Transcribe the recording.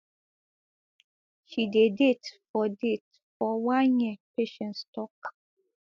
she dey date for date for one year patience tok